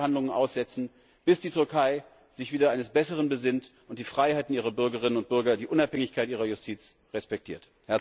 Wir sollten die Verhandlungen aussetzen, bis die Türkei sich wieder eines Besseren besinnt und die Freiheiten ihrer Bürgerinnen und Bürger und die Unabhängigkeit ihrer Justiz respektiert.